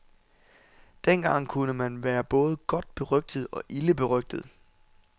Dengang kunne man være både godt berygtet og ilde berygtet.